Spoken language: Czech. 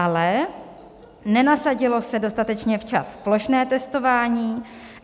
Ale nenasadilo se dostatečně včas plošné testování.